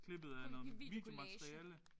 Videokollage